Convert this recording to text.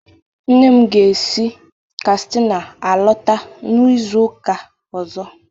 Nne m ga-esi Katsịna alọta n'izu ụka ọzọ.